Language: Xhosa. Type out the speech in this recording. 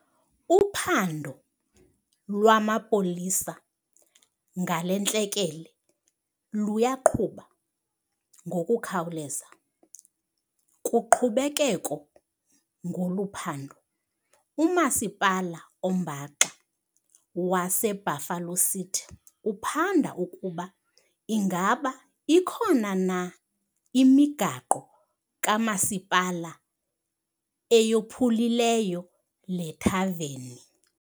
Uphando lwamapolisa ngale ntlekele luyaqhuba ngokukhawuleza. Kuqhubekeko ngolu phando, uMasipala oMbaxa waseBuffalo City uphanda ukuba ingaba ikhona na imigaqo kamasipala eyophulileyo le thaveni.